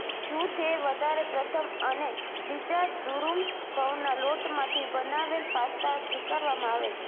જૂથ એ વધારે પ્રથમ અને બીજા દુરુમ ઘઉંના લોટ માંથી બનાવેલ પાસ્તા સ્વીકારવામાં આવે છે